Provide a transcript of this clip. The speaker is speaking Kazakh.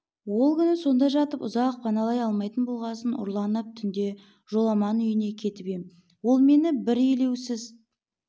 ол күні сонда жатып ұзақ паналай алмайтын болғасын ұрланып түнде жоламан үйіне келіп ем ол мені бір елеусіз